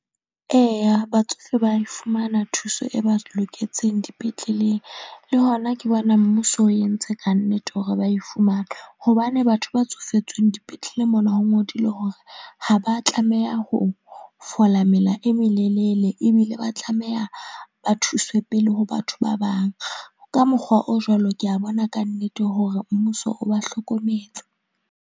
Eya, batsofe ba fumana thuso e ba loketseng dipetleleng le hona ke bona mmuso o entse kannete hore ba e fumana, hobane batho ba tsofetsweng dipetleleng mona ho ngodilwe hore ha ba tlameha ho fola mela e melelele ebile ba tlameha ba thuswe pele ho batho ba bang. Ka mokgwa o jwalo, ke a bona ka nnete hore mmuso o ba hlokometse.